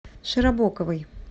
широбоковой